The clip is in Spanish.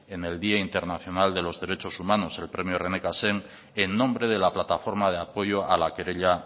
en el día internacional de los derechos humanos el premio rené cassin en nombre de la plataforma de apoyo a la querella